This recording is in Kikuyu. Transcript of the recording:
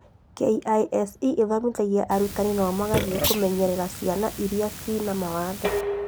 KISE ĩthomithagia arutani nao magathii kũmenyerera ciana iria ciĩ na mawathe